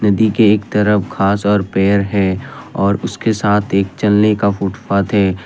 नदी एक तरफ घास और पेड़ है और उसके साथ एक चलने का फुटपाथ है।